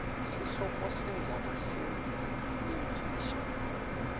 sihloko sendzaba lemfisha